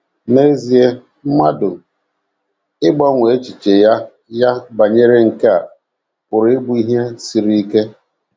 N’ezie, mmadụ ịgbanwe echiche ya ya banyere nke a pụrụ ịbụ ihe siri ike.